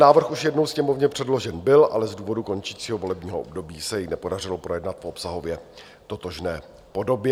Návrh už jednou Sněmovně předložen byl, ale z důvodu končícího volebního období se jej nepodařilo projednat v obsahově totožné podobě.